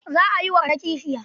Za a yi wa Kande kishiya.